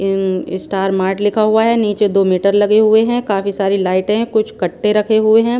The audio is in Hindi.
इनन इस्टार मार्ट लिखा हुआ है नीचे दो मीटर लगे हुए हैं काफी सारी लाइट हैं कुछ कट्टे रखे हुए हैं।